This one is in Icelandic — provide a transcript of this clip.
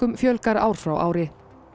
fjölgar ár frá ári